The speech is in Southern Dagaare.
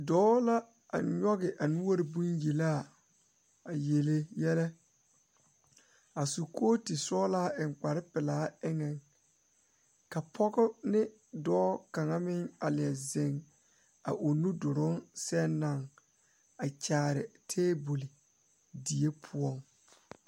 Dɔɔ la a nyoge a noɔre bonyelaa a yele yɛlɛ a su kootu sɔglaa eŋ kparepelaa zeŋ ka pɔge ne dɔɔ kaŋa meŋ a leɛ zeŋ a o nu duruŋ sɛŋ na a kyaare tabole die poɔŋ.